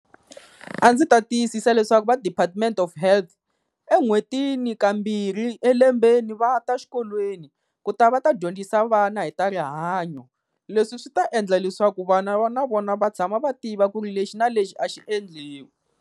A ndzi ta tiyisisa leswaku va department of health en'hwetini kambirhi elembeni va ta xikolweni, ku ta va ta dyondzisa vana hi ta rihanyo. Leswi swi ta endla leswaku vana va na vona va tshama va tiva ku ri lexi na lexi a xi endliwi.